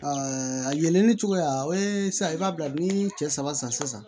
a yelenni cogoya o ye sisan i b'a bila ni cɛ saba san sisan